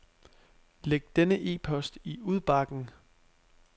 Læg denne e-post i udbakken.